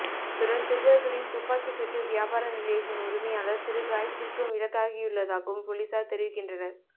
அத்துடன் திருடர்ககளின் துப்பாக்கி சூட்டுக் வியாபார நிலையத்தின் உரிமையாளர் சிறு காயத்திற்கு இலக்காகியுள்ளதாகவும் பொலிஸார் தெரிவிக்கின்றனர்